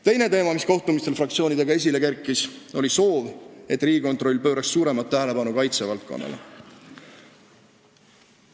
Teine teema, mis kohtumistel fraktsioonidega esile kerkis, oli soov, et Riigikontroll pööraks suuremat tähelepanu kaitsevaldkonnale.